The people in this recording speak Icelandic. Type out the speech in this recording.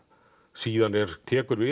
síðan tekur við